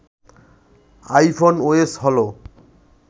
iPhone OS হলো